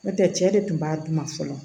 N'o tɛ cɛ de tun b'a dun ka fɔlɔ